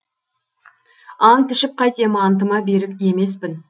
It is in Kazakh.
ант ішіп қайтем антыма берік емеспін